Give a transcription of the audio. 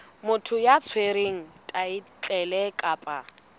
motho ya tshwereng thaetlele kapa